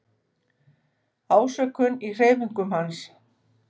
Ásökun í hreyfingum hans.